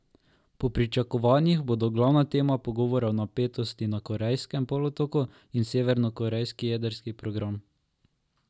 Po pričakovanjih bodo glavna tema pogovorov napetosti na Korejskem polotoku in severnokorejski jedrski program.